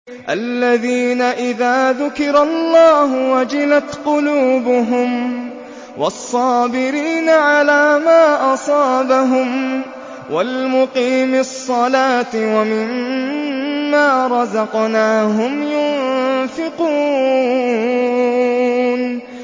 الَّذِينَ إِذَا ذُكِرَ اللَّهُ وَجِلَتْ قُلُوبُهُمْ وَالصَّابِرِينَ عَلَىٰ مَا أَصَابَهُمْ وَالْمُقِيمِي الصَّلَاةِ وَمِمَّا رَزَقْنَاهُمْ يُنفِقُونَ